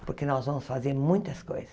Porque nós vamos fazer muitas coisas.